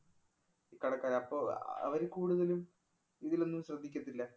കടക്കാര് അപ്പൊ ആഹ് അവര് കൂടുതലും ഇതിലൊന്നും ശ്രദ്ധിക്കത്തില്ല.